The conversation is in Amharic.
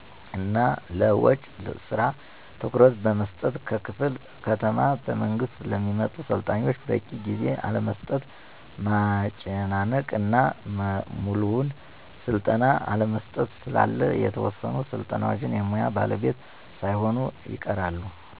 እና ለውጭ ስራ ትኩረት በመስጠት ከክፍለ ከተማ በመንግስት ለሚመጡ ሰልጣኞች በቂ ጊዜ አለመስጠት፣ ማመናጨቅ እና ሙሉውን ስልጠና አለመስጠት ስላለ የተወሰኑ ሰልጣኞች የሙያ ባለቤት ሳይሆኑ ይቀራሉ።